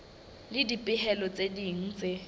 le dipehelo tse ding tse